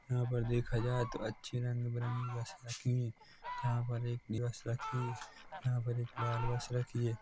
यहाँ पर देखा जाये तो अच्छी ऱगे बेरंगी बसे रखी हुई यहाँ पर एक दिवस रखी यहाँ पर एक लाल बस रखी है।